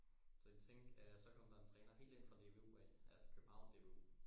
så de tænkte at så kom der en træner helt inde fra DBU af altså København DBU